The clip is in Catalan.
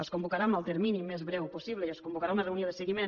es convocarà en el termini més breu possible i es convocarà una reunió de seguiment